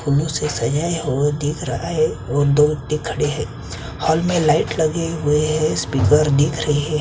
फूलों से सजाया हुआ दिख रहा है और दो ओरते खड़े है होल में लाइट लगाया हुआ है और स्पीकर दिख रहे है।